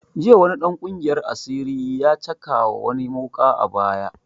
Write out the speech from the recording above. Jiya wani dan ƙungiyar asiri ya cakawa wani wuƙa a baya